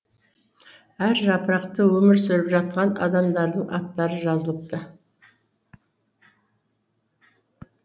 әр жапырақта өмір сүріп жатқан адамдардың аттары жазылыпты